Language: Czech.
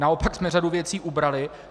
Naopak jsme řadu věcí ubrali.